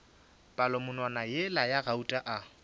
palamonwana yela ya gauta a